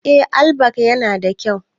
Eh, allback yana da kyau.